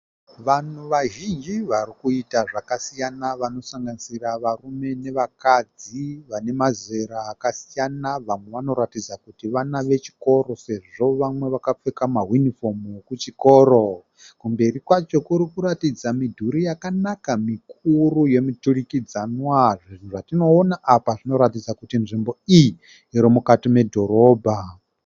Vanhu vazhinji vari kuita zvakasiyana vanosanganisira varume nevakadzi . Vane mazera akasiyana vamwe vanoratidza kuti vana vechikoro sezvo vamwe vakapfeka mawinifomu ekuchikoro. Kumberi kwacho kuri kuratidza midhuri yakanaka mikuru yemuturikidzanwa . Zvinhu zvatinowona apa zvinoratidza kuti nzvimbo iyi irimukati medhorobha .